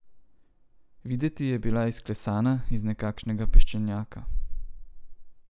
Videti je bila izklesana iz nekakšnega peščenjaka.